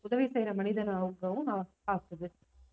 உதவி செய்யற மனிதனாகவும் அவனை ஆக்குது.